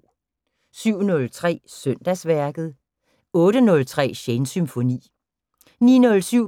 07:03: Søndagsværket 08:03: Shanes Symfoni 09:07: